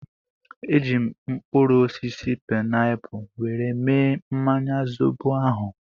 Eji m mkpụrụ osisi painapu were mee mmanya zobo ahụ